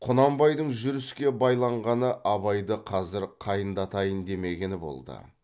құнанбайдың жүріске байланғаны абайды қазір қайындатайын демегені болды